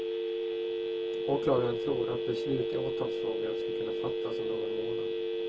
Åklagaren tror att beslut i åtalsfrågan ska kunna fattas om någon månad.